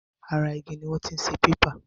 Ara igi ni wọ́n ti ń ṣe pépà.